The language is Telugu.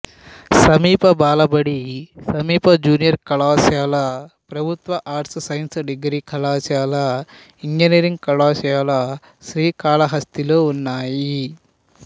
సమీప బాలబడి సమీప జూనియర్ కళాశాల ప్రభుత్వ ఆర్ట్స్ సైన్స్ డిగ్రీ కళాశాల ఇంజనీరింగ్ కళాశాల శ్రీకాళహస్తిలో ఉన్నాయి